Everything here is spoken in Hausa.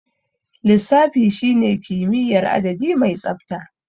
Lissafi shine kimiyyar adadi mai tsabta.